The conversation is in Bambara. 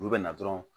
Olu bɛ na dɔrɔn